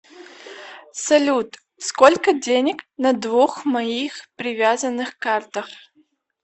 салют сколько денег на двух моих привязанных картах